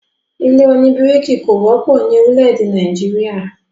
ilé òní bíríkì kò wọ́pọ̀ ni orílè-èdè Nàìjíríà